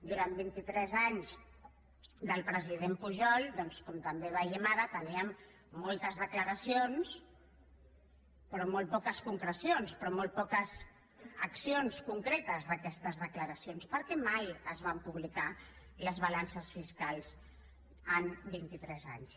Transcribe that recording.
durant vint i tres anys del president pujol doncs com també ho veiem ara teníem moltes declaracions però molt poques concrecions però molt poques accions concretes d’aquestes declaracions perquè mai es van publicar les balances fiscals en vint i tres anys